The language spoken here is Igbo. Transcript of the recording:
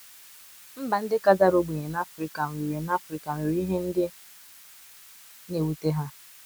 Mba ndị ka dara ogbenye na Afrika nwere na Afrika nwere ihe ndị na - ewute ha.